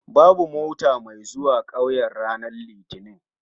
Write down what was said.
Babu mota mai zuwa 'kauyen ranar litinin